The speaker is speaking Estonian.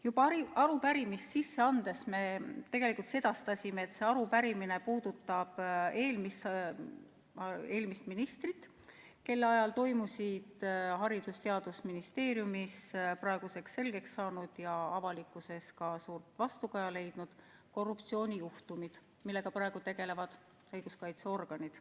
Juba arupärimist sisse andes me tegelikult sedastasime, et see arupärimine puudutab eelmist ministrit, kelle ajal toimusid Haridus- ja Teadusministeeriumis praeguseks selgeks saanud ja avalikkuses ka suurt vastukaja leidnud korruptsioonijuhtumid, millega praegu tegelevad õiguskaitseorganid.